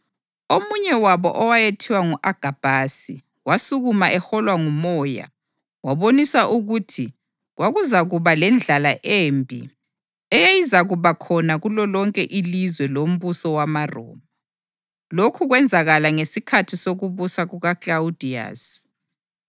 Omunye wabo owayethiwa ngu-Agabhasi wasukuma eholwa nguMoya wabonisa ukuthi kwakuzakuba lendlala embi eyayizakubakhona kulolonke ilizwe lombuso wamaRoma. (Lokhu kwenzakala ngesikhathi sokubusa kukaKlawudiyasi.)